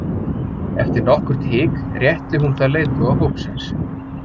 Eftir nokkurt hik rétti hún það leiðtoga hópsins.